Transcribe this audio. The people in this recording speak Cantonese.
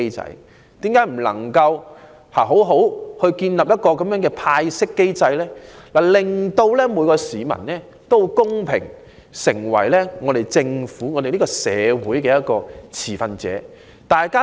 為何政府不能好好建立一個派息機制，令每一市民可公平地成為政府、社會運作的持份者？